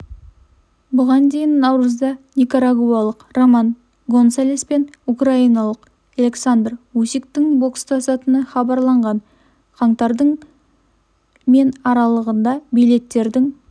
бұған дейін наурызда никарагуалық роман гонсалес пен украиналық александр усиктің бокстасатыны хабарланған қаңтардың мен аралығында билеттердің